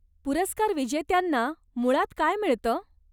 पुरस्कारविजेत्यांना मुळात काय मिळतं?